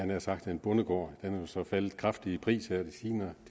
nær sagt en bondegård men den så faldet kraftigt i pris her de senere